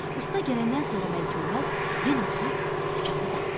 Usta gələndən sonra Məlikməmməd yenə durub dükanı bağladı.